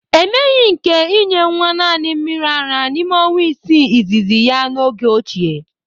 E meghi nke inye nwa naanị mmiri ara n'ime ọnwa isii izizi ya n'oge ochie.